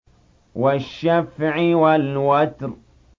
وَالشَّفْعِ وَالْوَتْرِ